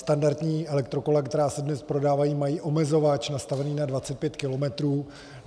Standardní elektrokola, která se dnes prodávají, mají omezovač nastavený na 25 kilometrů.